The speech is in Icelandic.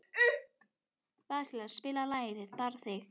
Vasilia, spilaðu lagið „Þig bara þig“.